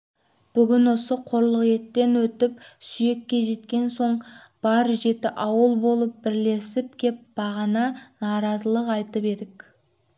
бүгін осы қорлық еттен өтіп сүйекке жеткен соң бар жеті ауыл болып бірлесіп кеп бағана наразылық айтып едік